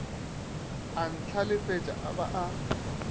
a ntlhalefetša a ba a